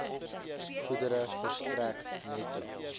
goedere verstrek netto